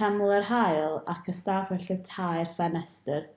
teml yr haul ac ystafell y tair ffenestr